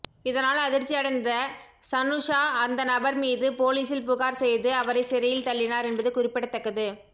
இதனால் அதிர்ச்சி அடைந்த சனுஷா அந்த நபர் மீது போலீசில் புகார் செய்து அவரை சிறையில் தள்ளினார் என்பது குறிப்பிடத்தக்கது